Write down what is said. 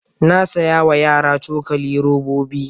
Na saya wa yara cokali robobi.